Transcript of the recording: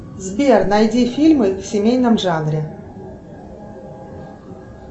сбер найди фильмы в семейном жанре